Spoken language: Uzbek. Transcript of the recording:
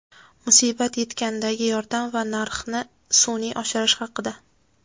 musibat yetgandagi yordam va narxni sun’iy oshirish haqida.